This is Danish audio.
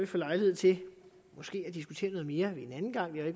få lejlighed til måske at diskutere noget mere en anden gang det